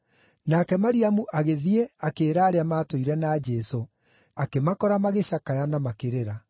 Nake Mariamu agĩthiĩ akĩĩra arĩa maatũire na Jesũ, akĩmakora magĩcakaya na makĩrĩra.